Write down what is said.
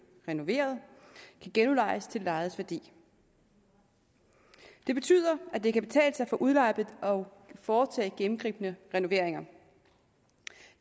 renoveret kan genudlejes til det lejedes værdi det betyder at det kan betale sig for udlejer at foretage gennemgribende renoveringer